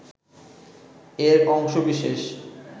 এর অংশ বিশেষ